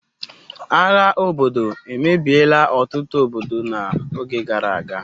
agha obodo emebiela otutu obodo n'oge gara aga